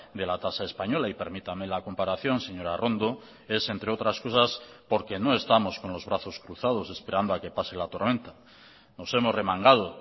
de la tasa española y permítame la comparación señora arrondo es entre otras cosas porque no estamos con los brazos cruzados esperando a que pase la tormenta nos hemos remangado